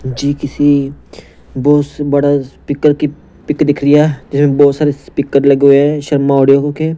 जी किसी बहुत बड़ा स्पीकर की पिक दिख रही है बहुत सारे स्पीकर लगे हुए हैं शर्मा ऑडियो के--